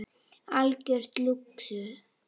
Algjör lúxus.